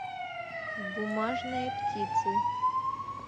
бумажные птицы